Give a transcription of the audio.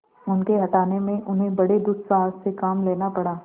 उनके हटाने में उन्हें बड़े दुस्साहस से काम लेना पड़ा